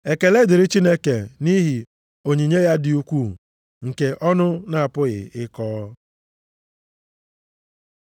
Ekele dịrị Chineke nʼihi onyinye ya dị ukwuu nke ọnụ na-apụghị ịkọ.